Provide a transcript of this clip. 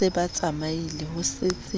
se ba tsamaile ho setse